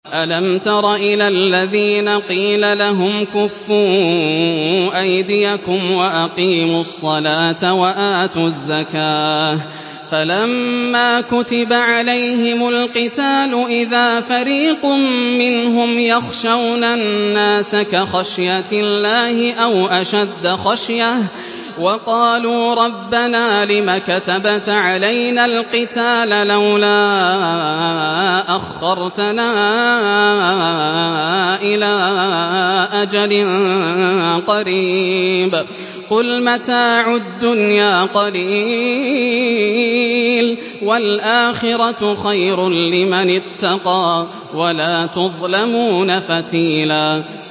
أَلَمْ تَرَ إِلَى الَّذِينَ قِيلَ لَهُمْ كُفُّوا أَيْدِيَكُمْ وَأَقِيمُوا الصَّلَاةَ وَآتُوا الزَّكَاةَ فَلَمَّا كُتِبَ عَلَيْهِمُ الْقِتَالُ إِذَا فَرِيقٌ مِّنْهُمْ يَخْشَوْنَ النَّاسَ كَخَشْيَةِ اللَّهِ أَوْ أَشَدَّ خَشْيَةً ۚ وَقَالُوا رَبَّنَا لِمَ كَتَبْتَ عَلَيْنَا الْقِتَالَ لَوْلَا أَخَّرْتَنَا إِلَىٰ أَجَلٍ قَرِيبٍ ۗ قُلْ مَتَاعُ الدُّنْيَا قَلِيلٌ وَالْآخِرَةُ خَيْرٌ لِّمَنِ اتَّقَىٰ وَلَا تُظْلَمُونَ فَتِيلًا